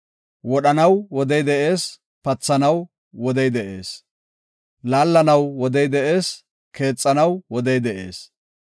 Wodhanaw wodey de7ees; pathanaw wodey de7ees. Laallanaw wodey de7ees; keexanaw wodey de7ees.